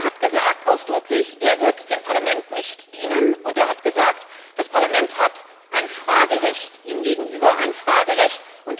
Er hat ausdrücklich gesagt, er wird dem Parlament nicht dienen, und er hat gesagt, das Parlament hat ein Fragerecht ihm gegenüber ein Fragerecht!